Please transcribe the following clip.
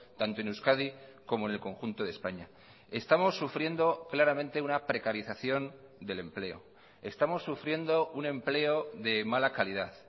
tanto en euskadi como en el conjunto de españa estamos sufriendo claramente una precarización del empleo estamos sufriendo un empleo de mala calidad